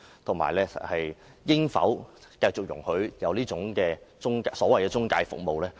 而且，我們應否繼續容許這種所謂財務中介服務存在？